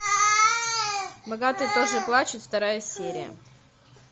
богатые тоже плачут вторая серия